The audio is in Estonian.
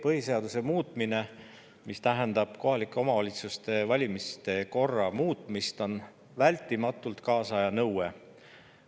Põhiseaduse muutmine, mis tähendab kohaliku omavalitsuse valimiste korra muutmist, on vältimatult kaasaja nõue.